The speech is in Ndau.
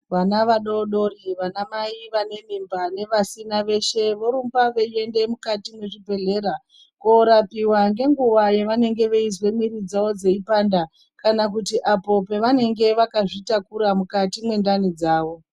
Vana vadodori vanamai vane mimba ngevasina veshe vorumba veienda mukati mezvibhedhlera korapiwa ngenguva yavanenge veizwa miri dzavo dzeipanda kana apo pavanenge vakazvitakura mukati mwendani dzavo .